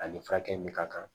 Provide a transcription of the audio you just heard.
A ni furakɛli min ka kan